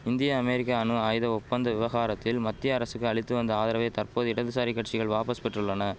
இந்திய அமெரிக்க அணு ஆயுத ஒப்பந்த விவகாரத்தில் மத்திய அரசுக்கு அளித்து வந்த ஆதரவை தற்போதைய இடதுசாரி கட்சிகள் வாபஸ் பெற்றுள்ளன